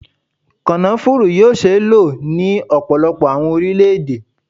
Kònafuru yoo ṣee lo ni ọpọlọpọ awọn orilẹ-ede